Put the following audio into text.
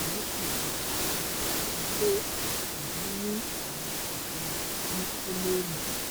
èmi ti bẹ̀rù gidigidi pé èmi ní àrùn jejere ní kọ́lọ́nnù